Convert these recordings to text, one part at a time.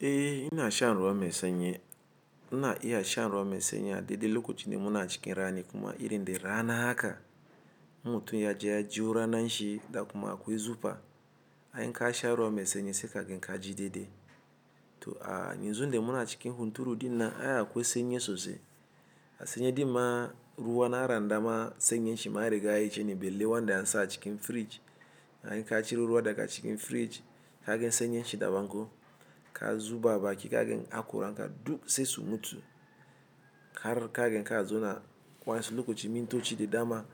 Eh ina shan ruwan maisenyi, ina iya shan ruwan maisenyi a daɗe lokacin da muna cikin rani kuma irin da rana haka, in mutu ya je ya jiwo rana nashi, da kuma akwai zufa, anyi ka sha ruwan masenyi sai kagen ka ji dede. To a nizo inde muna cikin hunturu dinnan, ayi akwai senyi sosai, a senyi dinnan ruwa na randama senyin shi ma rigaye cene, balle wanda an sa a cikin fridge. Anyi ka ciro ruwa daga cikin fridge, kaga senyin shi daban ko, ka zuba a baki kaga akura, ranka duk sai su mutu. Har kagen ka zo na wasu lokacin mintoci da dama,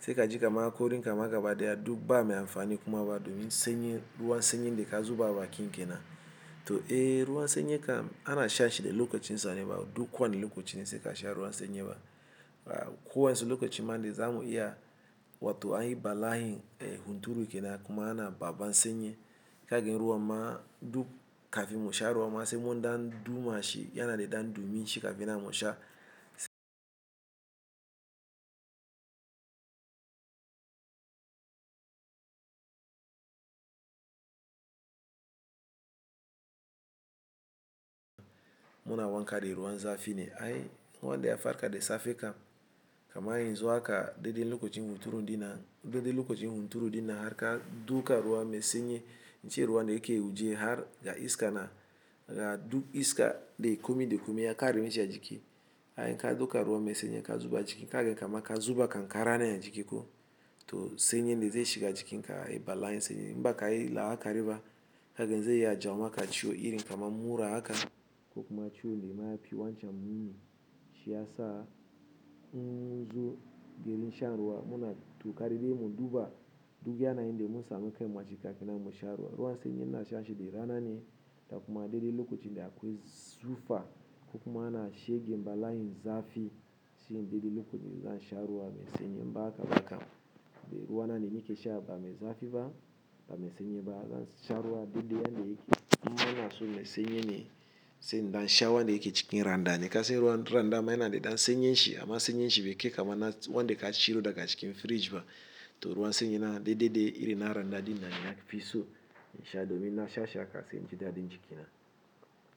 sai ka jika ka ma akori, kama ga bada ya duk ba mai amfani kuma ba domin senyin, ruwan senyin da ka zuba baki nkena. To eh ruwan senyi kam ana sha shi da lokacin sane ba duk kwane lokacin sai ka sha ruwan senyi ba. A kuwa su lokacin mande zamu iya, watu anyi balayin hunturu kenan kuma ana ba ba senyi, kaga ruwa ma duk kafin mu sha ruwa, masai mun dan duma shi yana da dan dumi shi kafin ana masha. Muna wanka da ruwan zafi ne ai, wanda ya farka da safe kam, kamar yanzu haka daɗe lokacin hunturu dinnan, daɗe lokacin hunturu dinnan har ka duka ruwa mai senyi, cewa wanda yake ji har ga iska na, ga duk iska da kumai ya ƙare mishi a jiki. Ai ka dauka ruwan mai senyi ka zuba jiki kaga kama ka zuba kan kara ne a jiki ko. To senyin da zai shiga jikinka balayin senyin, inbakayi la'a kariba kaga zai iya jawo maka ciwo irin kamar mura haka. Kokuma ciwo da mayafi wancan muni shi ya sa, in munzu domin shan ruwa muna kokari mun duba, duk yanayin de mun samu kai kafinnan mu sha ruwa. Ruwan senyi muna sha shi da rana ne, da kuma deɗe lokacin da akwai zufa, kokuma ana shiga balayin zafi, shine deɗe lokacin za shan ruwa mai senyi inbaha baka. Me ruwa na ne yake sha bame zafi ba, bame senyi ba, zaka sha ruwa a deɗe wanda yake, inma inason mai senyi ne, sai in dan sha wanda yake cikin randani, kasan ruwan randama yana da dan senyin shi, amma senyin shi bai kai kama na wanda ka ciro daga cikin fridge ba. To ruwan senyi na deɗe deɗe irin na randadi nina ya fi so in sha domin na sha sha haka sai naji dadi jikina.